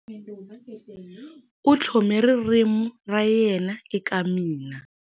U tlhome ririmi ra yena eka mina.